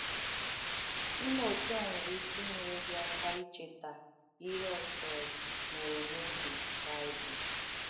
Ịme otú a nwere ike ìnyèrē gị aka icheta ihe ọ̀sọ̀rụ̀ mèrē n’ògē Baịbụl.